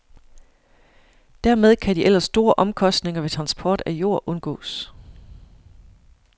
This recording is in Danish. Dermed kan de ellers store omkostninger ved transport af jord undgås.